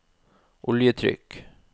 oljetrykk